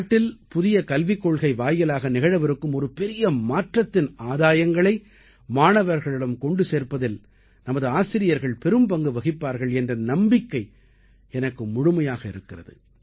நாட்டில் புதிய கல்விக் கொள்கை வாயிலாக நிகழவிருக்கும் ஒரு பெரிய மாற்றத்தின் ஆதாயங்களை மாணவர்களிடம் கொண்டு சேர்ப்பதில் நமது ஆசிரியர்கள் பெரும்பங்கு வகிப்பார்கள் என்ற நம்பிக்கை எனக்கு முழுமையாக இருக்கிறது